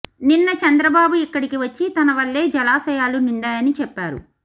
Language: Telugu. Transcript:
నిన్న చంద్రబాబు ఇక్కడికి వచ్చి తన వల్లే జలాశయాలు నిండాయని చెప్పారు